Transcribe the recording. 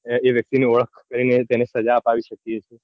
એ વ્યક્તિ ની ઓળખ કરીને તેને સજા અપાવી શકીયે છીએ.